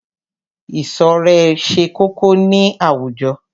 Ìṣọ̀rẹ́ ṣe kókó ní àwùjọ.